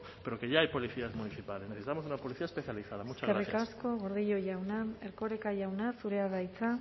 pero que ya hay policías municipales necesitamos una policía especializada muchas gracias eskerrik asko gordillo jauna erkoreka jauna zurea da hitza